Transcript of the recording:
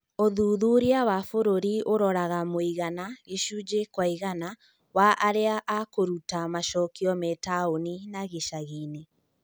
ũthuthuria wa bũrũri ũraroraga mũigana (gĩcunjĩ kwa igana) wa arĩa akũruta macokio me taũni na gicagiine